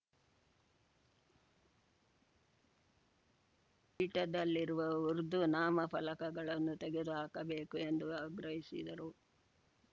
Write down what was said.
ಪೀಠದಲ್ಲಿರುವ ಉರ್ದು ನಾಮಫಲಕಗಳನ್ನು ತೆಗೆದು ಹಾಕಬೇಕು ಎಂದು ಆಗ್ರಹಿಸಿದರು